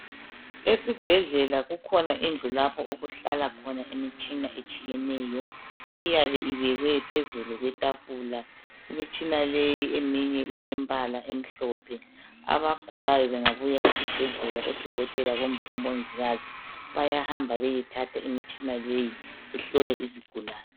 esibhedlela ikhona indlu lapho okuhlala khona imishina etshiyeneyo iyabe ifakwe phezulu kwetafula imitshina le eminye ilempala emhlophe abagulayo bengauya esibhedlela odokotela kumbe omongikazi bayahamba beyethatha imitshina leyi ihlole isigulane